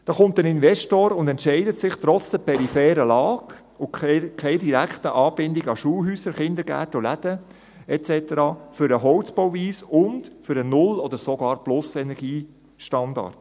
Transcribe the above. Es kommt ein Investor und entscheidet sich trotz der peripheren Lage und keiner direkten Anbindung an Schulhäuser, Kindergärten und Läden et cetera für eine Holzbauweise und für den Null- oder sogar den Plus-Energiestandard.